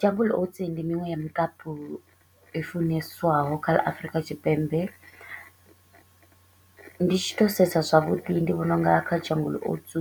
Jungle oats ndi miṅwe ya mukapu i funeswaho kha ḽa Afurika Tshipembe, ndi tshi to u sedza zwavhuḓi ndi vhona u nga kha Jungle oats